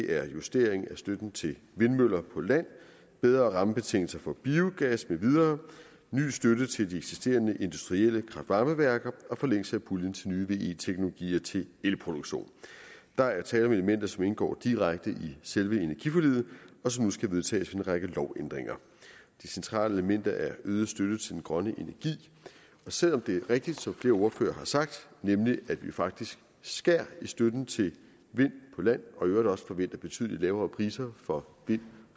er justering af støtten til vindmøller på land bedre rammebetingelser for biogas mv ny støtte til de eksisterende industrielle kraft varme værker og forlængelse af puljen til nye ve teknologier til elproduktion der er tale om elementer som indgår direkte i selve energiforliget og som nu skal vedtages ved en række lovændringer det centrale element er øget støtte til den grønne energi og selv om det er rigtigt som flere ordførere har sagt nemlig at vi faktisk skærer i støtten til vind på land og i øvrigt også forventer betydelig lavere priser for vind